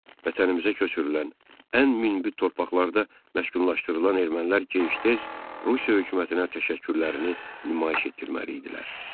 Vətənimizə köçürülən ən minbüt torpaqlarda məskunlaşdırılan ermənilər gec-tez Rusiya hökumətinə təşəkkürlərini nümayiş etdirməli idilər.